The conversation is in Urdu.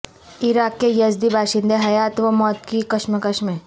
عراق کے یزدی باشندے حیات و موت کی کشمکش میں